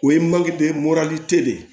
O ye de ye